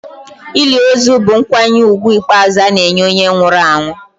Ili ozu bụ nkwanye ùgwù ikpeazụ ana-enye onye nwụrụ anwụ.